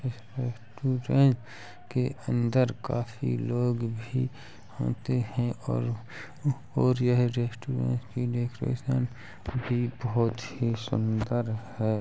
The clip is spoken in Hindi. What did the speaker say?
के अंदर काफी लोग भी होते हैं और और यहाँ रेस्टोरेंट की डेकोरैशन भी बोहोत ही सुन्दर है।